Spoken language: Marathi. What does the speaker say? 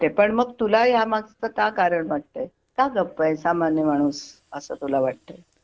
पण मग तुला यामागचे का कारण वाटतय की गप्प सामान्य माणूस असं तुला वाटतय